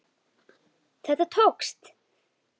Þetta tókst!